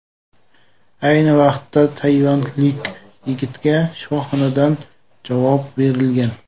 Ayni vaqtda tayvanlik yigitga shifoxonadan javob berilgan.